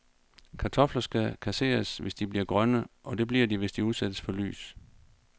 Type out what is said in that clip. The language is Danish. Kartofler skal kasseres, hvis de bliver grønne, og det bliver de, hvis de udsættes for lys.